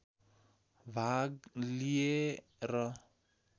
भाग लिए र